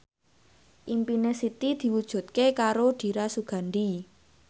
impine Siti diwujudke karo Dira Sugandi